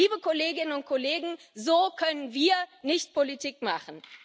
Liebe Kolleginnen und Kollegen, so können wir nicht Politik machen.